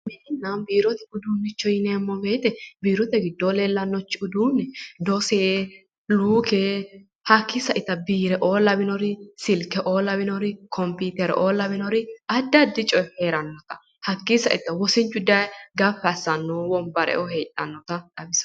Mininna biirote uduunnicho yineemmo weete biirote gidoonni leellanno uduunne doose luuke hakii saitta biireoo lawinori silkeoo lawinorri computeroo lawinorri adi adirichi heeranno hakii sainohunni wosinchu daye gaffi asanno wonbareoo heedhannota xawissanno